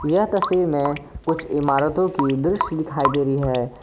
यह तस्वीर में कुछ इमारतों की दृश्य दिखाई दे रही है।